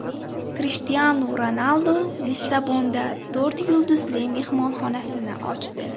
Krishtianu Ronaldu Lissabonda to‘rt yulduzli mehmonxonasini ochdi.